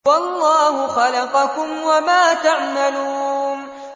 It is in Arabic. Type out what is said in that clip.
وَاللَّهُ خَلَقَكُمْ وَمَا تَعْمَلُونَ